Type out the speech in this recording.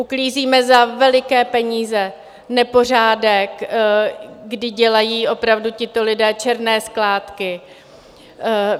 Uklízíme za veliké peníze nepořádek, kdy dělají opravdu tito lidé černé skládky.